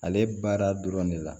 Ale baara dɔrɔn de la